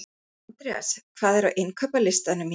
Andreas, hvað er á innkaupalistanum mínum?